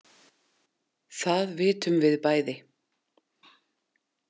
Það vitum við bæði.